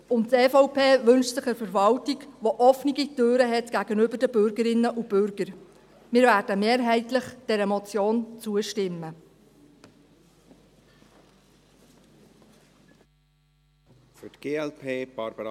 Und die EVP wünscht sich eine Verwaltung, die gegenüber ihren Bürgerinnen und Bürgern offene Türen hat.